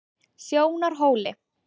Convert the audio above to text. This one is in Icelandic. Sjónarhóli